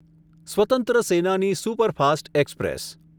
સ્વતંત્ર સેનાની superfast express